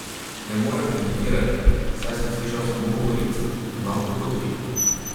Ne morem komentirati, saj sem slišal samo govorice, enako kot vi.